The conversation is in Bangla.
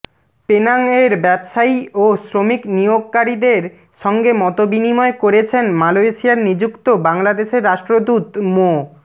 পেনাংয়ের ব্যবসায়ী ও শ্রমিক নিয়োগকারীদের সঙ্গে মতবিনিময় করেছেন মালয়েশিয়ায় নিযুক্ত বাংলাদেশের রাষ্ট্রদূত মো